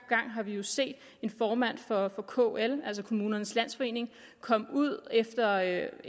gang har vi jo set formanden for kl altså kommunernes landsforening komme ud efter at